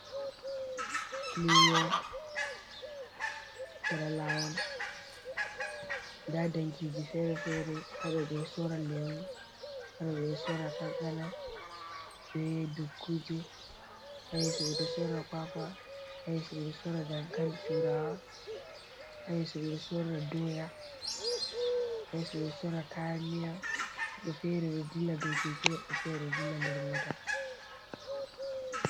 Lumo cera lawon nda dankiji fere fere ha ɗo ɓeɗo sora lemu, haɗo ɓeɗo sora kankana, ɓe dukuje ha yesso ɓeɗo sora kwakwa ha yesso ɓeɗo sora dankali turawa, ha yesso ɓeɗo sora doya, ha yesso ɓeɗo sora kaya miya woɓɓe fere ɗo dilla ɗou keke, woɓɓe fere ɗo dilla nder mota.